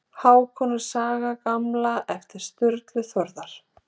hákonar saga gamla eftir sturlu þórðarson